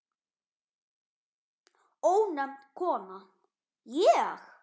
Ónefnd kona: Ég?